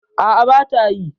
A'a, bata yi.